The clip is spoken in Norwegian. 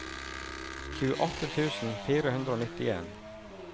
tjueåtte tusen fire hundre og nittien